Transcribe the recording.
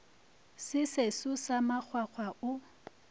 se seso sa makgwakgwa o